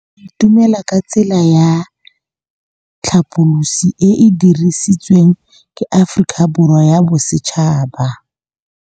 Go itumela ke tsela ya tlhapolisô e e dirisitsweng ke Aforika Borwa ya Bosetšhaba.